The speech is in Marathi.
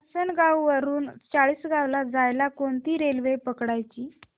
आसनगाव वरून चाळीसगाव ला जायला कोणती रेल्वे पकडायची